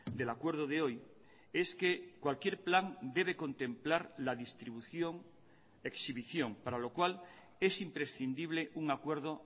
del acuerdo de hoy es que cualquier plan debe contemplar la distribución exhibición para lo cual es imprescindible un acuerdo